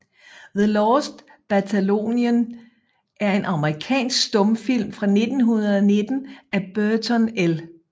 The Lost Battalion er en amerikansk stumfilm fra 1919 af Burton L